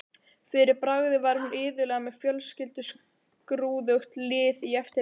Fyrir bragðið var hún iðulega með fjölskrúðugt lið í eftirdragi.